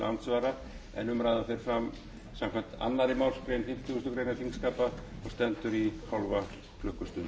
andsvara en umræðan fer fram samkvæmt annarri málsgrein fimmtugustu grein þingskapa og stendur í hálfa klukkustund